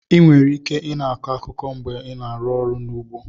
Enwere ike i na-akọ akụkụ mgbe a na-arụ ọrụ n'ugbo.